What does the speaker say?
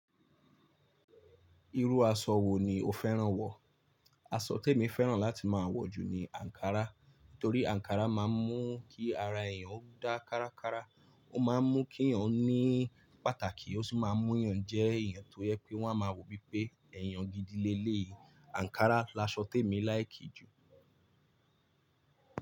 Irú aṣọ wo ni o fẹ́ràn wọ̀? Aṣọ tí èmi fẹ́ràn láti máa ń wọ jù ni ankara. Nítorí ankara máa ń mú kí ara èèyàn dá kárákára, ó máa ń mú kí èèyàn ní pàtàkì, ó sì máa ń mú èèyàn jẹ́ èèyàn tó yẹ pé wọ́n a máa wò wípé èèyàn gidile ni elẹ̀yìí. Ankara laṣọ tí èmi feran jù.